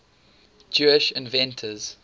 jewish inventors